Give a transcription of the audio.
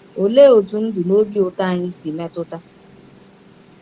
Olee otú ndụ na obi ụtọ anyị si metụta?